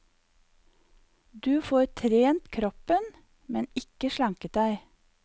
Du får trent kroppen, men ikke slanket deg.